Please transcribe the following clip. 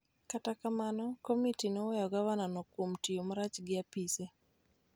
Kata kamano, komiti noweyo gavanano kuom tiyo marach gi apise .